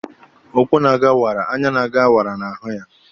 Ụkwụ na-aga wara; anya na-aga wara na-ahụ gị.